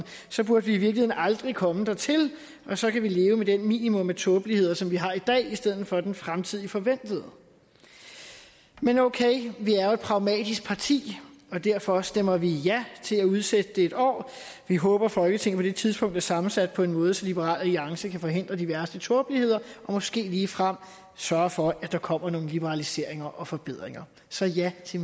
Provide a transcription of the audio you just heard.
så burde vi i virkeligheden aldrig komme dertil og så kan vi leve med det minimum af tåbelighed som vi har i dag i stedet for den fremtidigt forventede men okay vi er jo et pragmatisk parti og derfor stemmer vi ja til at udsætte det et år vi håber at folketinget på det tidspunkt er sammensat på en måde så liberal alliance kan forhindre de værste tåbeligheder og måske ligefrem sørge for at der kommer nogle liberaliseringer og forbedringer så ja til